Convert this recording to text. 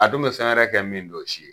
A dun bɛ fɛn wɛrɛ kɛ min t'o si ye.